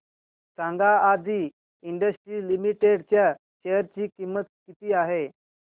सांगा Adi industries limited च्या share ची किंमत किती आहे